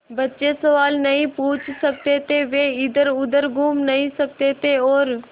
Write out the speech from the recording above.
बच्चे सवाल नहीं पूछ सकते थे वे इधरउधर घूम नहीं सकते थे और